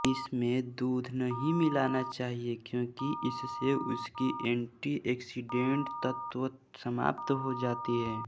इसमें दूध नहीं मिलाना चाहिए क्योंकि इससे उसकी एंटीआक्सीडेंट तत्व समाप्त हो जाती है